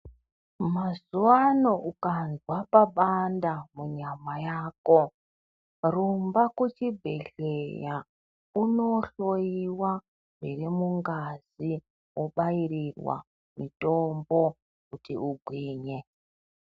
Mazuva ano ukazwa papanda munyama yako rumba ku chibhedhleya uno hloyiwa zviri mungazi wobairirwa mitombo kuti ungwinye.